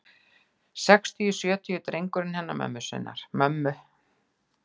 Sextugi, sjötugi drengurinn hennar mömmu.